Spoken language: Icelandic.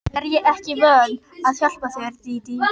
Er ég ekki vön að hjálpa þér, Dídí?